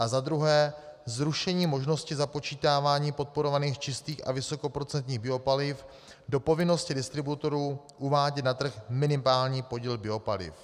A za druhé - zrušení možnosti započítávání podporovaných čistých a vysokoprocentních biopaliv do povinnosti distributorů uvádět na trh minimální podíl biopaliv.